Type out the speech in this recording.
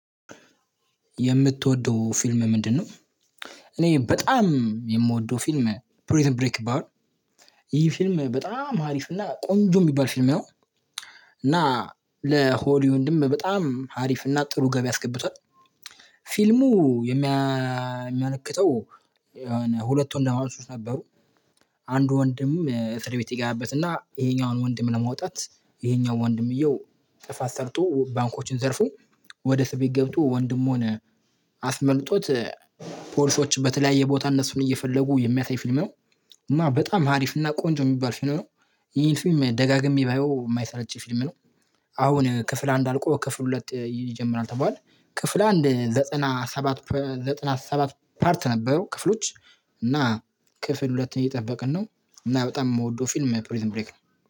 የምትወደው ፊልም ምንድነው እኔ በጣም የምወደው ፊልም ፕሪዝን ብሬክ ይባላል ይህ ፊልም በጣም ሀሪፍ እና ቆንጆ የሚባል ፊልም ንው እና ለሆሊውድም በጣም ሀሪፍና ጥሩ ገቢ አስገብቷል ፊልሙ የሚያመለክተው የሆነ ሁለት ወንድማማቾች ነበሩ አንድ ወንድም እፍርድ ቤት ይገባበትና ይሄኛውን ወንድም ለማውጣት ይሄኛው ወንድምየው ጥፋት ሰርቶ ባንኮችን ዘርፎ ወደ ሰቤት ገብቶ ወንድም አስመልጦት ፖሊሶች በተለያየ ቦታ እነሱን እየፈለጉ የሚያሳይ ፊልም ነው እና በጣም አሪፍ እና ቆንጆ የሚባል ፊልም ነው ይሄን ፊልም ደጋግሜ ባየው የማይሰለች ፊልም ነው አሁን ክፍል አንድ አልቆ ክፍል ሁለት ይጀምራል ተባሏል ክፍል አንድ ዘጠና ሰባት ዘጠና ሰባት ፓርት ነበሩ ክፍሎች እና ክፍል ሁለትን እየጠብቅን ነው። አና በጣም እምወደው ፊልም ፕሪን ብሬክ ነው።